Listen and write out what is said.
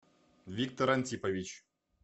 виктор антипович